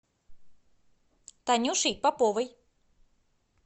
танюшей поповой